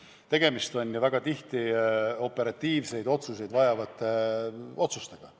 Aga tegemist on ju otsustega, mis tuleb operatiivselt langetada.